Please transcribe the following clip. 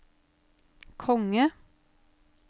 konge